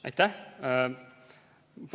Aitäh!